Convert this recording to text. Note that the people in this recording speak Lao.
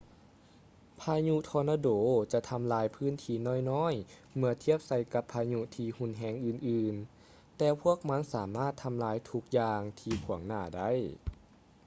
ພາຍຸທໍນາໂດຈະທຳລາຍພື້ນທີ່ນ້ອຍໆເມື່ອທຽບໃສ່ກັບພາຍຸທີ່ຮຸນແຮງອື່ນໆ ແຕ່ພວກມັນສາມາດທຳລາຍທຸກຢ່າງທີ່ຂວາງໜ້າໄດ້